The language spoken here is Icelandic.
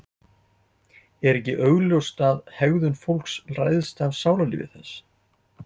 er ekki augljóst að hegðun fólks ræðst af sálarlífi þess